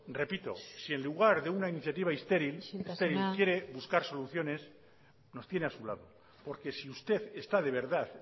repito si en lugar de una iniciativa estéril isiltasuna quiere buscar soluciones nos tiene a su lado porque si usted está de verdad